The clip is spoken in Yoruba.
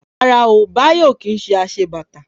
Rárá o, Bayo ò kí ń ṣe aṣebàtà